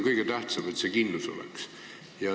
Kõige tähtsam on, et see kindlus oleks olemas.